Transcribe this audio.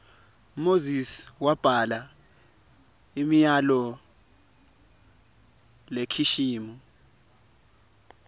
moses wabhala imiyalol lekishimi